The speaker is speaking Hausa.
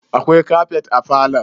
Akwai kafet a falon?